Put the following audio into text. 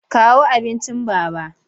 Kawo abincin Baba!